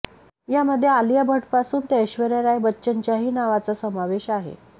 यामध्ये आलिया भटपासून ते ऐश्वर्या राय बच्चनच्याही नावाचा समावेश आहे